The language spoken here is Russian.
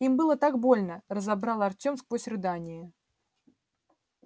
им было так больно разобрал артём сквозь рыдания